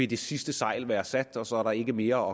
det sidste sejl være sat og så er der ikke mere